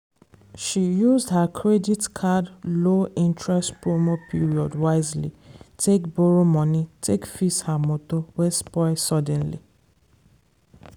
she used her credit card low interest promo period wisely take borrow money take fix her motor wey spoil suddenly.